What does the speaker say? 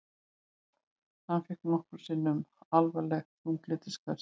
Hann fékk nokkrum sinnum alvarleg þunglyndisköst.